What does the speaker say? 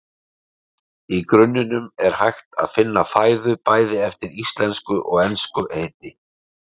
Í grunninum er hægt að finna fæðu, bæði eftir íslensku og ensku heiti.